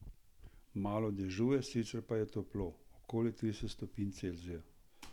Malo dežuje, sicer pa je toplo, okoli trideset stopinj Celzija.